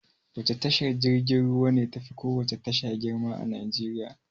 Wace tashar jirgin ruwa ne tafi kowace tasha girma a Najeriya.